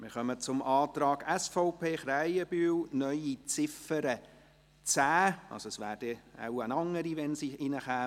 Wir kommen zum Antrag SVP, Krähenbühl auf eine neue Ziffer 10 – es wäre wohl eine andere Ziffer, wenn sie aufgenommen würde.